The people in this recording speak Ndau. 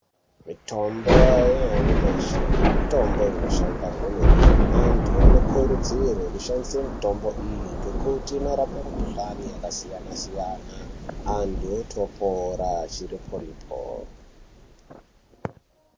Mitombo yanyamashi mitombo inoshanda kwemene antu anokurudzirwe kushandisa mitombo iyi. Ngekuti inorape mukuhlani yakasiyana-siyana antu otopora chiriporipo.